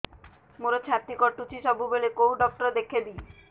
ମୋର ଛାତି କଟୁଛି ସବୁବେଳେ କୋଉ ଡକ୍ଟର ଦେଖେବି